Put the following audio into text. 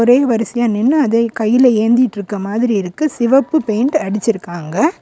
ஒரே வரிசையா நின்னு அத கையில ஏந்திட்ருக்கற மாதிரி இருக்கு சிவப்பு பெயிண்ட் அடிச்சிருக்காங்க.